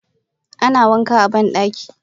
ana wanka a bandaki.